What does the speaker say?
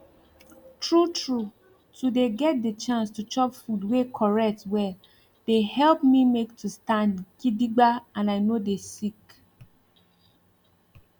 true true to dey get de chance to chop food wey correct well dey help me make to stand gidigba and i nor dey sick